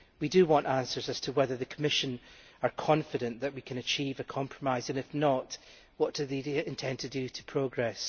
We want answers as to whether the Commission is confident that we can achieve a compromise and, if not, what it intends to do in order to progress.